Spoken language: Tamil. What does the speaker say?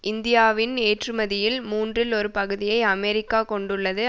இந்தியாவின் ஏற்றுமதியில் மூன்றில் ஒரு பகுதியை அமெரிக்கா கொண்டுள்ளது